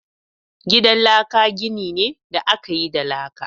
Gidan laka gini ne da aka yi da laka